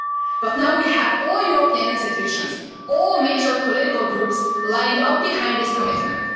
But now, we have all European institutions, all major political groups, lined up behind this commitment.